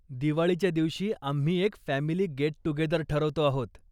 दिवाळीच्या दिवशी आम्ही एक फॅमिली गेट टुगेदर ठरवतो आहोत.